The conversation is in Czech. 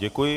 Děkuji.